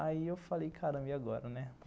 Aí eu falei, caramba, e agora, né?